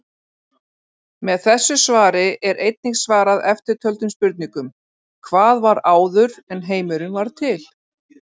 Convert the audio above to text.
Með þessu svari er einnig svarað eftirtöldum spurningum: Hvað var áður en heimurinn varð til?